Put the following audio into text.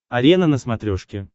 арена на смотрешке